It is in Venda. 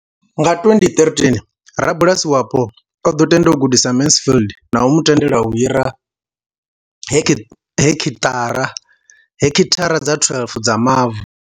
Nga 2013, rabulasi wapo o ḓo tenda u gudisa Mansfield na u mu tendela u hira heki thara dza 12 dza mavu.